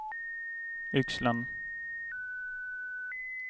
Yxlan